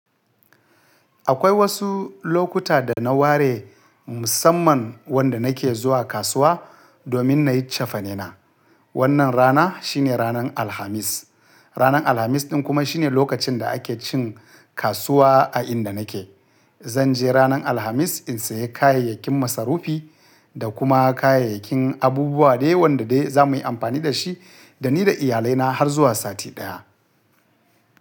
Akwai wasu lokuta da na ware musamman wanda na ke zuwa kasuwa domin na yi cefane na. Wannan rana shine ranan Alhamis. Ranan Alhamis ɗin kuma shine lokacin da ake cin kasuwa a inda na ke. Zan je ranan Alhamis in sayi kayayyakin masarufi da kuma kayayyakin abubuwa dai wanda dai za mu yi amfani da shi da ni da iyalai na har zuwa sati ɗaya.